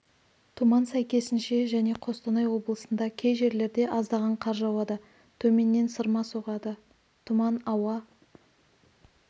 тұман сәйкесінше және қостанай облысында кей жерлерде аздаған қар жауады төменнен сырма соғады тұман ауа